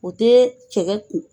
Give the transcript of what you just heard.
U tɛ cɛkɛ toli.